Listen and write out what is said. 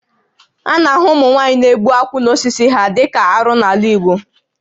A na-ahụ ụmụnwaanyị na-egbu akwụ n'osisi ya dịka ihe arụ n'ala Igbo